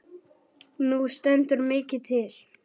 Nú stendur mikið til.